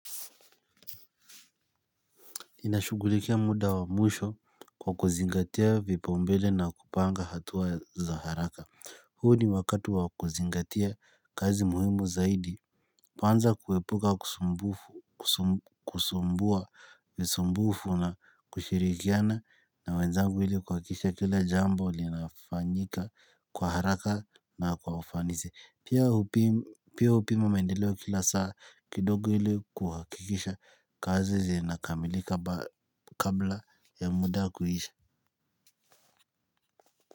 Inashugulikia muda wa mwisho kwa kuzingatia vipaumbele na kupanga hatua za haraka. Huu ni wakati wa kuzingatia kazi muhimu zaidi. Po anza kuepuka kusumbufu kusumbua kusumbufu na kushirikiana na wenzangu ili kuhakikisha kila jambo linafanyika kwa haraka na kwa ufanisi. Pia hupima maendeleo kila saa kidogo ili kuhakikisha kazi zinakamilika kabla ya muda kuisha.